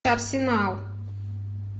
арсенал